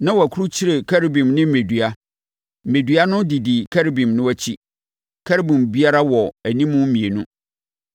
na wɔakurukyire Kerubim ne mmɛdua. Mmɛdua no didi Kerubim no akyi. Kerubim biara wɔ anim mmienu.